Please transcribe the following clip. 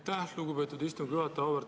Aitäh, lugupeetud istungi juhataja!